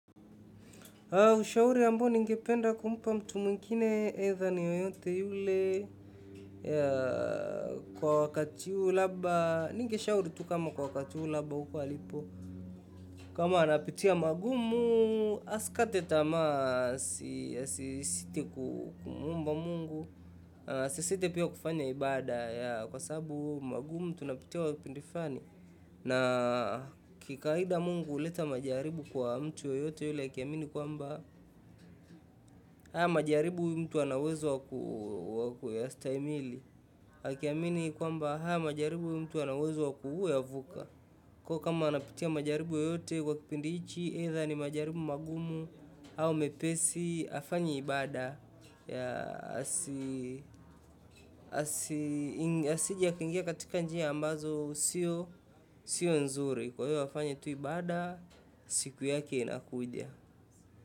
Ushauri ambao ningependa kumpa mtu mwingine either ni yoyote yule kwa wakati huu labda. Ninge shauri tu kama kwa wakati labda huko alipo. Kama anapitia magumu, asikate tamaa azidi kumuomba Mungu. Asisite pia kufanya ibada kwa sababu magumu tunapitia kwa kipindi fulani na kikawaida Mungu huleta majaribu kwa mtu yoyote yule akiamini kwamba haya majaribu huyu mtu ana uwezo wa kuyastahimili. Akiamini kwamba haya majaribu huyu mtu ana uwezo wa kuyavuka. Kwa hiyo kama anapitia majaribu yote kwa kipindi hichi, either ni majaribu magumu au mepesi, afanye ibada. Asije akaingia katika njia ambazo sio nzuri. Kwa hiyo afanye tu ibada, siku yake inakuja.